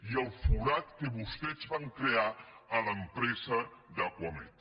i el forat que vostès van crear a l’empresa d’acuamed